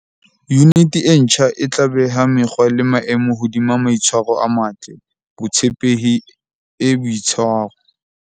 Yuniti e ntjha e tla beha mekgwa le maemo hodima maitshwaro a matle, botshepehi e boitshwaro.